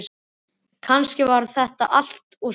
Kannski var það allt og sumt.